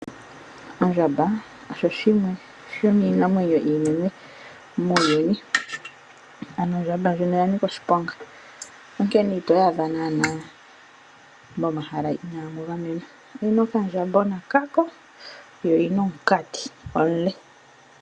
Ondjamba osho shimwe sho miinamwenyo iinene muuyuni ano ondjamba ndjino oya Nika oshiponga onkene ito yi adha naanaa